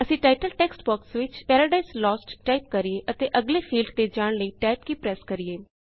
ਅਸੀਂ title text box ਵਿਚ Paradise Lost type ਕਰਿਏ ਅਤੇ ਅਗਲੇ ਫੀਲਡ ਤੇ ਜਾਣ ਲਈ ਟੈਬ ਕੀ ਪ੍ਰੈੱਸ ਕਰਿਏ